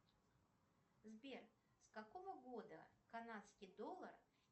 сбер с какого года канадский доллар